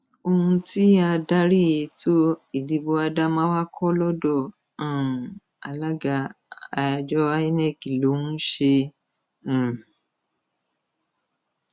ohun tí adarí ètò ìdìbò adamawa kọ lọdọ um alága àjọ inec ló ń ṣe um